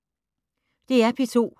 DR P2